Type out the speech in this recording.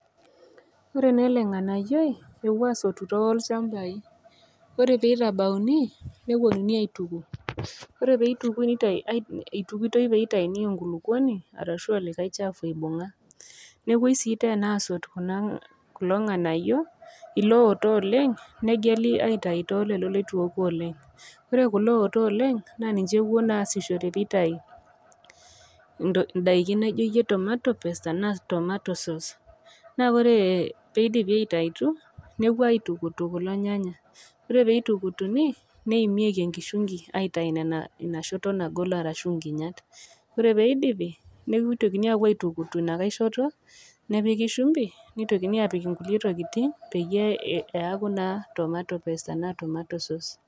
Ore naa ele ng'anayioi, epuoi aasotu tolchambai, ore pee eitabauni nepuonuni aituku, ore pee eitukui, eitukitoi pee eitayuni enkulukuoni arashu olikai chafu oibung'a. Nepuoi sii teena aasot kulo ng'anayo. Ilooto oleng' negeli aitayu te lelo leitu eoku oleng', ore kulo ooto oleng naa ninche epuoi aasishore pee eitayu indaiki naijoiye tomato paste anaa tomato sauce naa oree peidipi aitayutu, nepuoi aitukutu kuo nayanya, oree pee eitukutuni neimieki enkishungi pee eitayuni ina shoto nagol arashuu inkinyat, ore pee eidipi netokini apuoo aitukutu ina kai shoto , nepiki shumbi neitokini aapik inkulie tokitin peiyie eyaku naaa tomato paste anaa tomato paste.